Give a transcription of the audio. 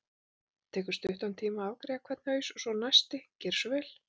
Það tekur stuttan tíma að afgreiða hvern haus og svo næsti, gerið svo vel!